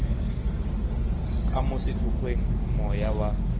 ka mo sethokgweng moya wa